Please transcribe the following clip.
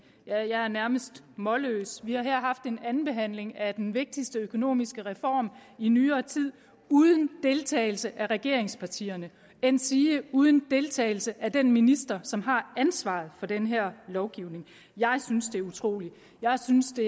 jeg er nærmest målløs vi har her haft en andenbehandling af den vigtigste økonomiske reform i nyere tid uden deltagelse af regeringspartierne endsige uden deltagelse af den minister som har ansvaret for den her lovgivning jeg synes det er utroligt jeg synes det